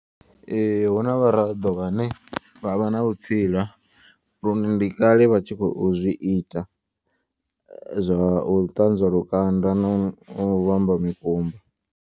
Ee huna vharaḓo vhane vhavha na vhutsila lune ndi kale vha tshi khou zwi ita zwa u ṱanzwa lukanda na u vhamba mikumba.